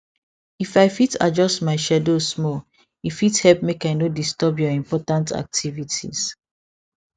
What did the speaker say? if i fit adjust my schedule small e fit help make i no disturb your important activities